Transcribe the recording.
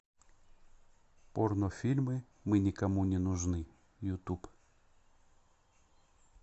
порнофильмы мы никому не нужны ютуб